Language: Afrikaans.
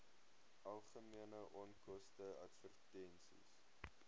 algemene onkoste advertensies